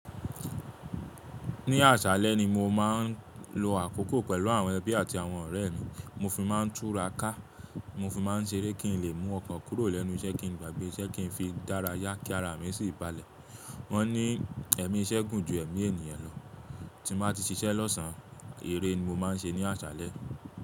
Ní àsálẹ́ ni mo má n lo àkókò pẹ̀lú àwọn ẹbí àti àwọn ọ̀rẹ́ mi. Mo fi má n túra ká, mo fi má n seré kí n lè mú ọkàn kúrò lẹ́nu iṣẹ́ kín n gbàgbé iṣẹ́ kín n fi dára yá kí ara mi sì balẹ̀. Wọ́n ní ẹ̀mí iṣẹ́ gùn ju ẹ̀mí ènìyàn lọ. Tí mo bá ti ṣiṣẹ́ lọ́sàn án, eré ni mo má n ṣe ní àsálẹ́.